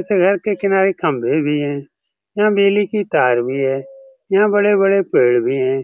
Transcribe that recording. इस घर के किनारे खम्बे भी हैं यहाँ बिजली के तार भी है यहाँ बड़े-बड़े पेड़ भी है।